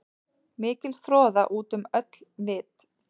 Mikil froða út um öll vit.